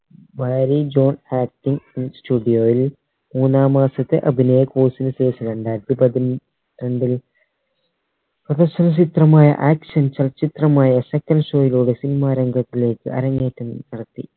marriage on acting in studio യിൽ മൂന്നാം മാസത്തെ അഭിനയ course ന് ശേഷം രണ്ടായിരത്തി പതി രണ്ടിൽ profession ചിത്രമായ action ചലച്ചിത്രമായ second show യിലൂടെ cinema രംഗത്തിലേക്ക് അരങ്ങേറ്റം നടത്തി